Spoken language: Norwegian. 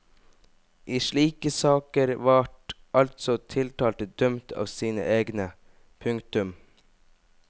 I slike saker vart altså tiltalte dømt av sine egne. punktum